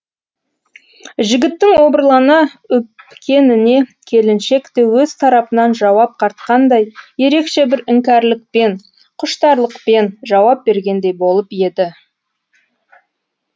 жігіттің обырлана өпкеніне келіншек те өз тарапынан жауап қатқандай ерекше бір іңкәрлікпен құштарлықпен жауап бергендей болып еді